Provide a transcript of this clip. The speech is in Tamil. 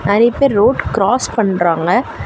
நெறைய பேர் ரோட் கிராஸ் பண்றாங்க.